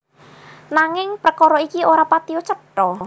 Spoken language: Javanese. Nanging prekara iki ora patiya cetha